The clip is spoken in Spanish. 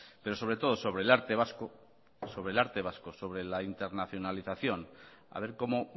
pero sobre todo sobre el arte vasco sobre el arte vasco sobre la internacionalización a ver cómo